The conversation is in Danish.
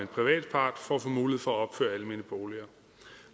privat part for at få mulighed for at opføre almene boliger